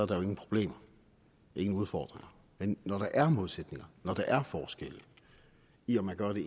der jo ingen problemer ingen udfordringer men når der er modsætninger når der er forskelle i om man gør det